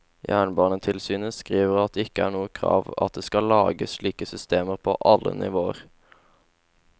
Jernbanetilsynet skriver at det ikke er noe krav at det skal lages slike systemer på alle nivåer.